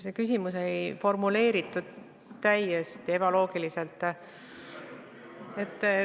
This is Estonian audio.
See küsimus oli formuleeritud täiesti ebaloogiliselt.